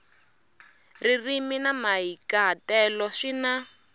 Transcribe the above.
ririmi na mahikahatelo swi na